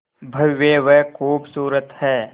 भव्य व खूबसूरत है